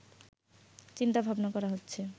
চিন্তাভাবনা করা হচ্ছে